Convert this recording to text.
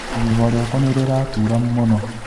Igego rĩakwa nĩrĩratura mũno